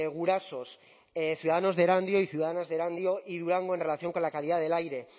gurasos ciudadanos de erandio y ciudadanas de erandio y durango en relación con la calidad del aire